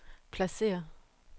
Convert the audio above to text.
pladsér